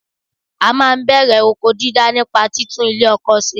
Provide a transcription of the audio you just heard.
À máa n bèrè oko dídá nípa títún ilè ọkọ se